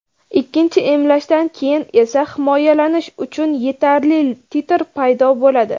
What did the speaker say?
Ikkinchi emlashdan keyin esa himoyalanish uchun yetarli titr paydo bo‘ladi.